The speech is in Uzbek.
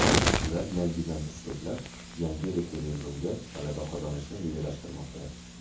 Ular yangidan kuch to‘plab, yangi referendumda g‘alaba qozonishni rejalashtirmoqda.